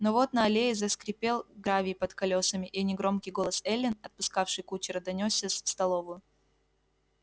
но вот на аллее заскрипел гравий под колёсами и негромкий голос эллин отпускавшей кучера донёсся в столовую